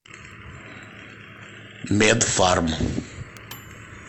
медфарм